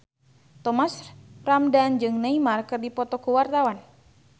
Thomas Ramdhan jeung Neymar keur dipoto ku wartawan